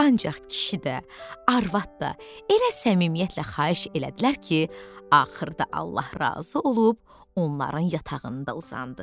Ancaq kişi də, arvad da elə səmimiyyətlə xahiş elədilər ki, axırda Allah razı olub onların yatağında uzandı.